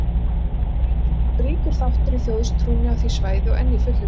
Þeir eru mjög ríkur þáttur í þjóðtrúnni á því svæði og enn í fullu gildi.